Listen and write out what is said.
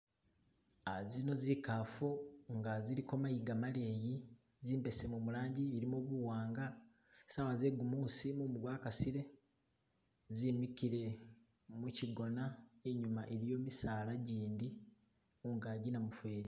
Zino kikafu nga ziliko mayiga maleyi zimbesemu mulangi zilimo buwanga sawa zegumusi mumu gwakasile zimikile muchigona inyuma iliyo misaala gindi mungagi namufeli.